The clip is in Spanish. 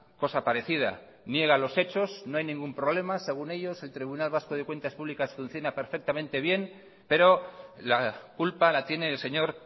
cosa parecida niega los hechos no hay ningún problema según ellos el tribunal vasco de cuentas públicas funciona perfectamente bien pero la culpa la tiene el señor